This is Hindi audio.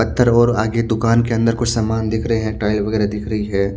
पत्थर और आगे दुकान के अंदर कुछ समान दिख रहे हैं टाइल वगैरह दिख रही है।